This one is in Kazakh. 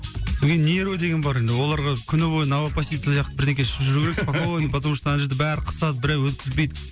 содан кейін нерві деген бар енді оларға күні бойы новопассит сияқты ішіп жүру керек спокойно потому что ана жерде бәрі қысады біреу өткізбейді